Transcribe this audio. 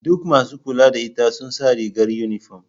Duk masu kula da ita sun sa rigar yunifom.